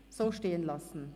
– So stehen lassen!